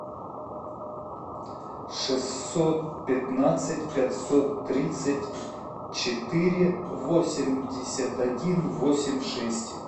шестьсот пятнадцать пятьсот тридцать четыре восемьдесят один восемь шесть